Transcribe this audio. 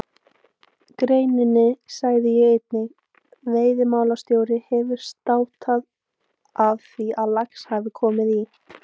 greininni sagði ég einnig: Veiðimálastjóri hefur státað af því að lax hafi komið í